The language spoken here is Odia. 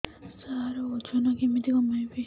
ସାର ଓଜନ କେମିତି କମେଇବି